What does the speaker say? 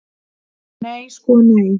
Nei sko nei.